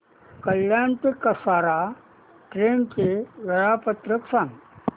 कल्याण ते कसारा ट्रेन चे वेळापत्रक सांगा